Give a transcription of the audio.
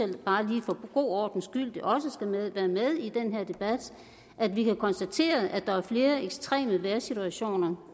det bare lige for god ordens skyld skal med i den her debat at vi kan konstatere at der er flere ekstreme vejrsituationer